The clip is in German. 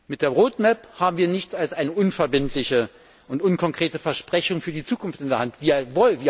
Mit der Roadmap haben wir nichts als ein unverbindliches und unkonkretes Versprechen für die Zukunft in der Hand.